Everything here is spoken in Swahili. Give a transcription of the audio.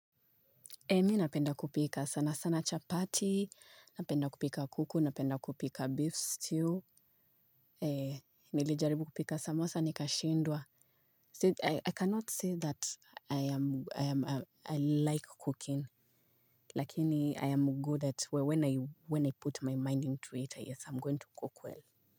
Mi napenda kupika sana sana chapati, napenda kupika kuku, napenda kupika beef stew, eh nilijaribu kupika samosa, nikashindwa. I cannot say that I like cooking, lakini I am good at when I put my mind into it, yes I am going to cook well.